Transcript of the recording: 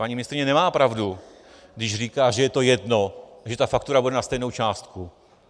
Paní ministryně nemá pravdu, když říká, že je to jedno, že ta faktura bude na stejnou částku.